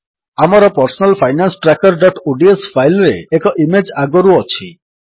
ଆମର personal finance trackerଓଡିଏସ file ରେ ଏକ ଇମେଜ୍ ଆଗରୁ ଅଛି